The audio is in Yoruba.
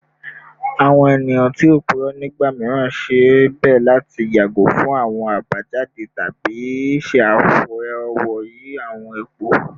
Awọn eniyan ti o purọ nigba miiran ṣe bẹ lati yago fun awọn abajade tabi ṣe afọwọyi awọn ipo